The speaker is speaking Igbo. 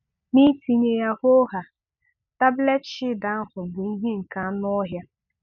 Nitinye ya hoo haa, tablet Shield ahụ bụ ihe nke anụọhịa.